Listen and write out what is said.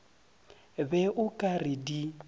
be o ka re di